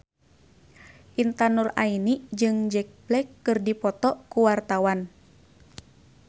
Intan Nuraini jeung Jack Black keur dipoto ku wartawan